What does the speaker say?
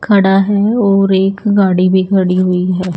खड़ा है और एक गाड़ी भी खड़ी हुई है।